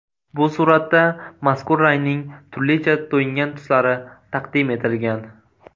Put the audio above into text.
Bu suratda mazkur rangning turlicha to‘yingan tuslari taqdim etilgan.